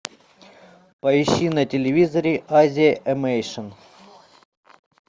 поищи на телевизоре азия эмейшн